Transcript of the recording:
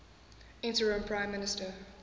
interim prime minister